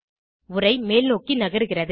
உரை மேல்நோக்கி நகருகிறது